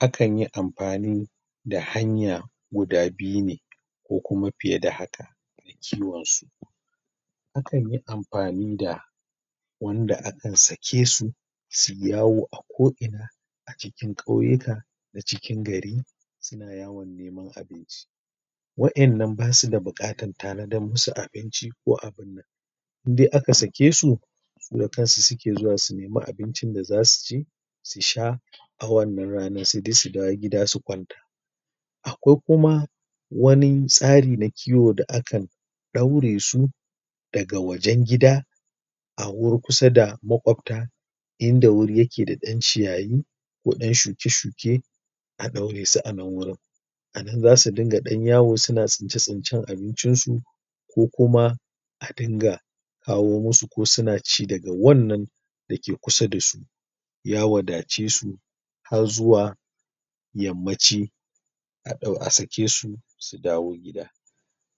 akan yi amfani da hanya guda biyu ne ko kuma fiye da haka a kiwonsu akan yi amfani da wanda akan sake su sui yawo a ko'ina cikin ƙauyuka da cikin gari suna yawo wa'innan ba su da buƙatar tanadar musu da abinci ko abun in dai aka sake su da kansu suke zuwa su nemi abincin da za su ci su sha a wannan ranar sai dai su dawo gida su kwanta a kwai kuma wani tsari na kiwo da aka ɗaure su daga wajen gida a wuri kusa da maƙwabta in da wuri yake da ƴan ciyayi ko ɗan shuke-shuke a ɗaure su a nan wajen a nan za su dinga ɗan yawo suna tsince-tsincen abincinsu ko kuma adinga kawo musu ko suna ci daga wannan dake kusa da su ya wadace su har zuwa yammaci ka ɗau a sake su su dawo gida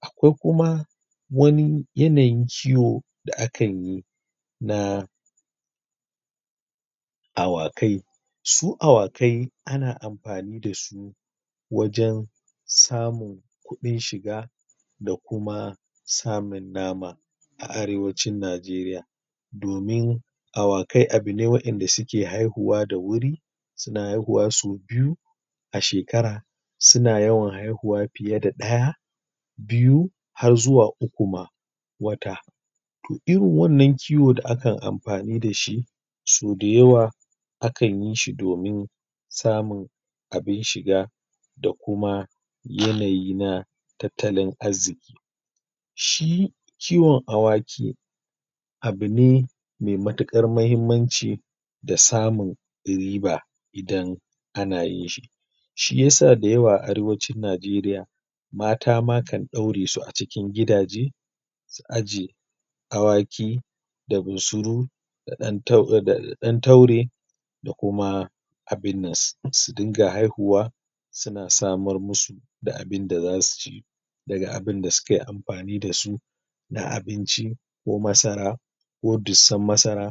a kwai kuma yanayin kiwo da akan yi na awakai su awakai ana amfani da su wajen samun kuɗin shiga da kuma samun nama a Arewacin Majeriya. domin awakai abune wa'inda suke haihuwa da wuri suna haihuwa sau biyu a shekara suna yawan haihuwa fiye da ɗaya biyu har zuwa uku ma, wata. to irin wannan kiwon da ake amfani da shi sauda yawa akan yi shi domin samun abin shiga da kuma yanayi na tattalin arziƙi shi kiwon awaki abu ne mai matuƙar muhimmanci da samun riba idana na yinshi shi ya sa da yawa a Arewacin Najeriya mata ma kan ɗaure su a cikin gidaje su aje awaki da bunsuru da ɗan taure da kuma abun nan su dinga haihuw a suna samar musu da abinda za su ci daga abinda sukai amfani da su na abinci ko masa ko dussar masara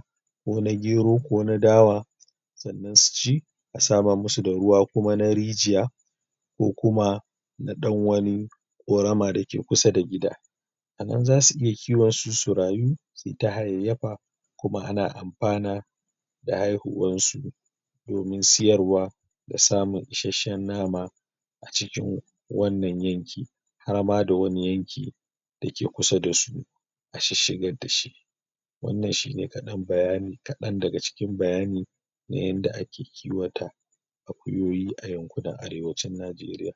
ko na gero ko na dawo sannan su ci a smara musu da ruwa ko na rijiya ko kuma na ɗan wani ƙorama da ke kusa da gida a nan za su iya kiwonsu su rayu sui ta hayayyafa kuma ana amfana da haihuwansu. domin siyarwa da samun isasshen mama. a cikin wannan yanki har ma da wani yanki da ke kusa da su a shisshigar da su. wannan shi ne kaɗan bayani kaɗan daga cikin bayani na yanda ake kiwata akuyoyi a yankunan Arewacin Najeriya.